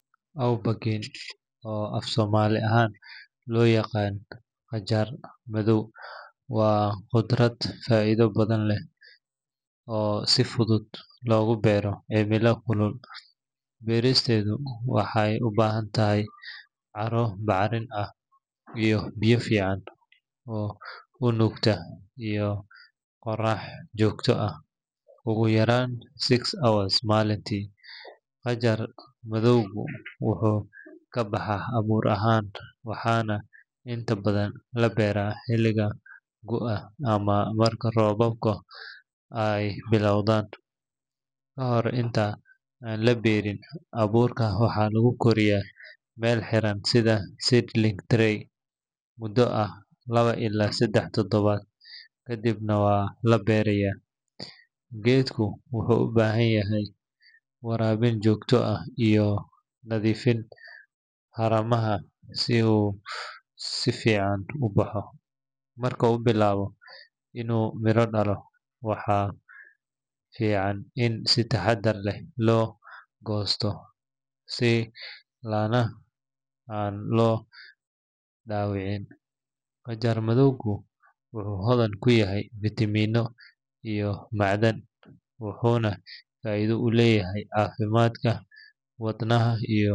Aubergine oo af-soomaali ahaan loo yaqaan qajaar madaw waa khudrad faa’iido badan leh oo si fudud loogu beero cimilo kulul. Beeristeedu waxay u baahan tahay carro bacrin ah oo biyo fiican u nuugta iyo qorrax joogto ah ugu yaraan six hours maalintii. Qajaar madawgu wuxuu ka baxaa abuur ahaan waxaana inta badan la beeraa xilliga gu’ga ama marka roobabka ay bilowdaan. Ka hor inta aan la beerin, abuurka waxaa lagu koriyaa meel xiran sida seedling tray muddo ah laba ilaa saddex toddobaad kadibna waa la beerayaa. Geedku wuxuu u baahan yahay waraabin joogto ah iyo nadiifinta haramaha si uu si fiican u baxo. Marka uu bilaabo inuu miro dhalo, waxaa fiican in si taxaddar leh loo goosto si laanaha aan loo dhaawicin. Qajaar madawgu wuxuu hodan ku yahay fiitamiinno iyo macdan, wuxuuna faa’iido u leeyahay caafimaadka wadnaha iyo.